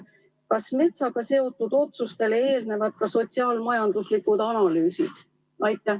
Kas metsaga seotud otsustele eelnevad ka sotsiaal-majanduslikud analüüsid?